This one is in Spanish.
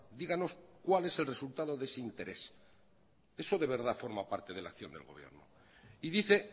díganos cuál es el resultado de ese interés eso de verdad forma parte de la acción del gobierno y dice